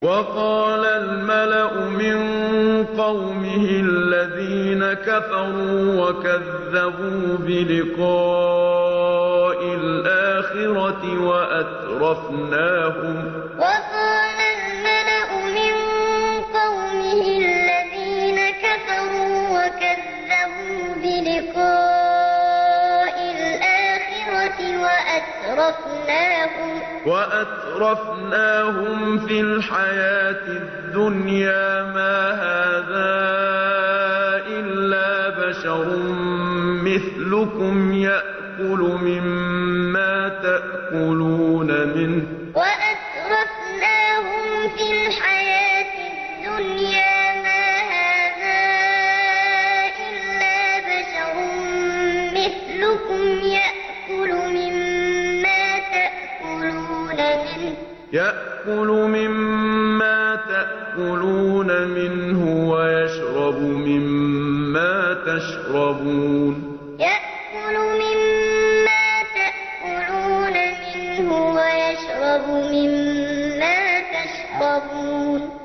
وَقَالَ الْمَلَأُ مِن قَوْمِهِ الَّذِينَ كَفَرُوا وَكَذَّبُوا بِلِقَاءِ الْآخِرَةِ وَأَتْرَفْنَاهُمْ فِي الْحَيَاةِ الدُّنْيَا مَا هَٰذَا إِلَّا بَشَرٌ مِّثْلُكُمْ يَأْكُلُ مِمَّا تَأْكُلُونَ مِنْهُ وَيَشْرَبُ مِمَّا تَشْرَبُونَ وَقَالَ الْمَلَأُ مِن قَوْمِهِ الَّذِينَ كَفَرُوا وَكَذَّبُوا بِلِقَاءِ الْآخِرَةِ وَأَتْرَفْنَاهُمْ فِي الْحَيَاةِ الدُّنْيَا مَا هَٰذَا إِلَّا بَشَرٌ مِّثْلُكُمْ يَأْكُلُ مِمَّا تَأْكُلُونَ مِنْهُ وَيَشْرَبُ مِمَّا تَشْرَبُونَ